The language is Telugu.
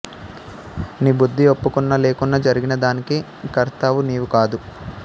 నీ బుద్ధి ఒప్పుకున్నా లేకున్నా జరిగిన దానికి కర్తవు నీవు కాదు